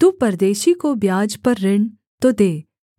तू परदेशी को ब्याज पर ऋण तो दे